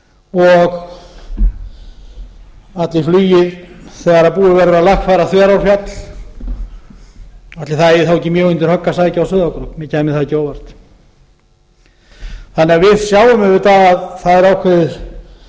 og ætli flugið þegar búið verður að lagfæra þverárfjall ætli það eigi þá ekki mjög undir högg að sækja á sauðárkrók mér kæmi það ekki á óvart við sjáum því auðvitað að það er ákveðið